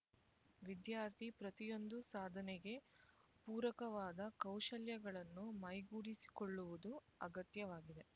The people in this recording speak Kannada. ವಿದ್ಯಾರ್ಥಿ ಪ್ರತಿಯೊಂದು ಸಾಧನೆಗೆ ಪೂರಕವಾದ ಕೌಶಲ್ಯಗಳನ್ನು ಮೈಗೂಡಿಸಿಕೊಳ್ಳುವುದು ಅಗತ್ಯವಾಗಿದೆ